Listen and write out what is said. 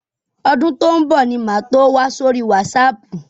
Ọdún tó ń bọ̀ ni màá tó wà sórí wásaàpù.